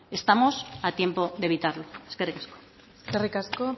estamos a tiempo de evitarlo eskerrik asko eskerrik asko